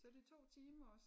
Så det 2 timer og så